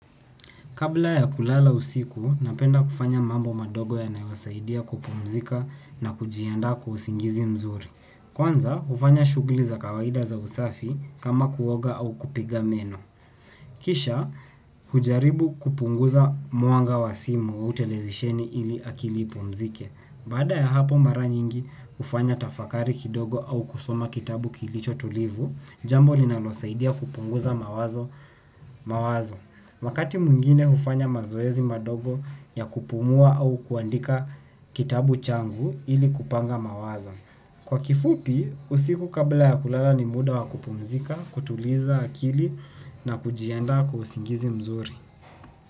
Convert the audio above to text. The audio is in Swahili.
Kabla ya kulala usiku, napenda kufanya mambo madogo yanayosaidia kupumzika na kujiandaa kwa usingizi mzuri. Kwanza, hufanya shughuli za kawaida za usafi, kama kuoga au kupiga meno. Kisha, hujaribu kupunguza mwanga wa simu au televisheni ili akili ipumzike. Baada ya hapo, mara nyingi, hufanya tafakari kidogo au kusoma kitabu kilicho tulivu, jambo linalosaidia kupunguza mawazo. Mawazo. Wakati mwingine hufanya mazoezi madogo, ya kupumua au kuandika kitabu changu, ili kupanga mawazo. Kwa kifupi, usiku kabla ya kulala ni muda wa kupumzika, kutuliza akili na kujiandaa kwa usingizi mzuri.